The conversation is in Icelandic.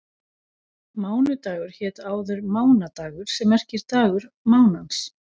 Mánudagur hét áður mánadagur sem merkir dagur mánans.